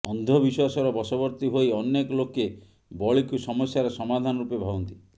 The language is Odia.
ଅନ୍ଧବିଶ୍ୱାସର ବଶବର୍ତ୍ତି ହୋଇ ଅନେକ ଲୋକେ ବଳୀକୁ ସମସ୍ୟାର ସମାଧାନ ରୂପେ ଭାବନ୍ତି